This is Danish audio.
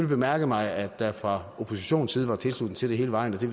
bemærket mig at der fra oppositionens side var tilslutning til det hele vejen og det